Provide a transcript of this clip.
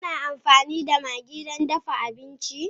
Kuna amfani da maggi don dafa abinci?